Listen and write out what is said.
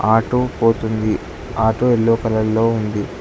Auto పోతుంది auto yellow కలర్లో ఉంది.